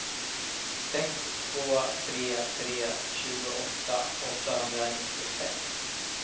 sex två tre tre tjugoåtta åttahundranittiosex